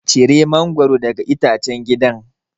Cire mangwaro daga itacen gidan.